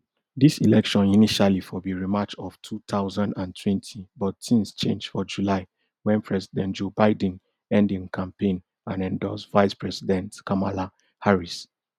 dis election initially for be rematch of two thousand and twenty but tins change for july wen president joe biden end im campaign and endorse vicepresident kamala harris